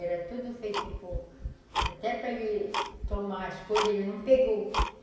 Era tudo feito por... Até para ele tomar as coisas, ele não pegou.